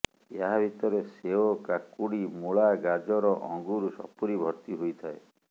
ଏହା ଭିତରେ ସେଓ କାକୁଡ଼ି ମୂଳା ଗାଜର ଅଙ୍ଗୁର ସପୁରୀ ଭର୍ତ୍ତିି ହୋଇଥାଏ